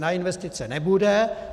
Na investice nebude.